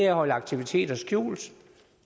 at holde aktiviteter skjult